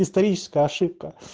историческая ошибка